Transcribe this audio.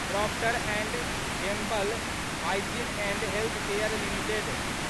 Procter and Gamble Hygiene and Health Care limited